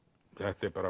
þetta er